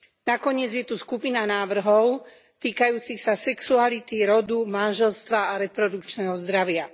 Nakoniec je tu skupina návrhov týkajúcich sa sexuality, rodu, manželstva a reprodukčného zdravia.